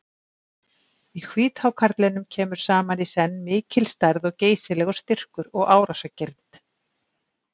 Í hvíthákarlinum kemur saman í senn mikil stærð og geysilegur styrkur og árásargirnd.